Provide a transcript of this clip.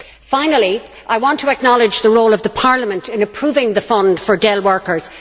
Finally, I want to acknowledge the role of Parliament in approving the fund for Dell workers.